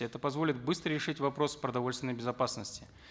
это позволит быстро решить вопрос продовольственной безопасности